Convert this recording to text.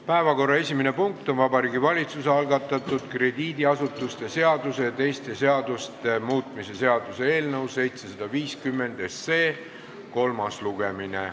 Päevakorra esimene punkt on Vabariigi Valitsuse algatatud krediidiasutuste seaduse ja teiste seaduste muutmise seaduse eelnõu 750 kolmas lugemine.